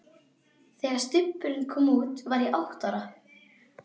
Þegar Stubburinn kom út var ég átta ára.